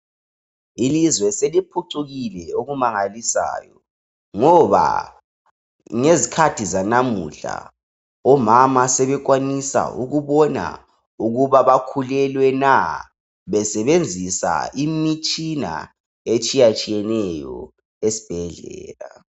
Ilizwe seliphucukile okumangalisayo ngoba ngezikhathi zanamuhla omama sebekwazi ukubona ukuba bakhulelwe na, besebenzisa imitshina etshiya tshiyeneyo esibhedlela.